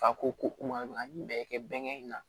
Fa ko an ye bɛɛ kɛ bɛnkɛ in na